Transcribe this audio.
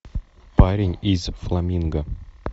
парень из фламинго